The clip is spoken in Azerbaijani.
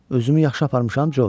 Özümü yaxşı aparmışam, Corc?